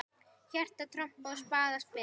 Hjarta trompað og spaða spilað.